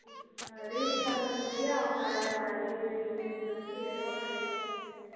Reach பண்றதுக்குலயும் அவங்க அது இது இதுனூ சொல்லிட்டு ஏதோ ஒண்ணு reason சொல்லிறுவாங்க